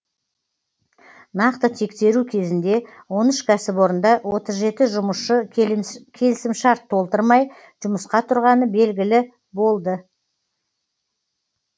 нақты тексеру кезінде он үш кәсіпорында отыз жеті жұмысшы келісімшарт толтырмай жұмысқа тұрғаны белгілі болды